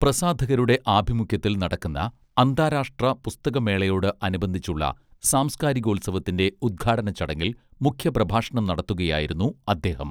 പ്രസാധകരുടെ ആഭിമുഖ്യത്തിൽ നടക്കുന്ന അന്താരാഷ്ട്ര പുസ്തകമേളയോട് അനുബന്ധിച്ചുളള സാംസ്കാരികോൽസവത്തിന്റെ ഉദ്ഘാടനച്ചടങ്ങിൽ മുഖ്യ പ്രഭാഷണം നടത്തുകയായിരുന്നു അദ്ദേഹം